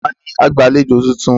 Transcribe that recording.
Ta ni agbàlejò tuntun?